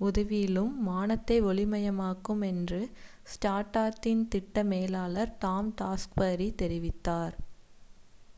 உதாவிலும் வானத்தை ஒளி மயமாக்கும் என்று ஸ்டார்டஸ்ட்டின் திட்ட மேலாளர் டாம் டாக்ஸ்பரி தெரிவித்தார்